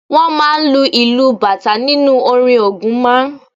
Wọ́n máa ń lu ìlù bàtà nínú orin Ògún máa ń